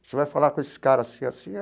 Você vai falar com esse cara assim e assim?